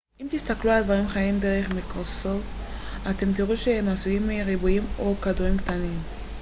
אם תסתכלו על דברים חיים דרך מיקרוסקופ אתם תראו שהם עשויים מריבועים או כדורים קטנים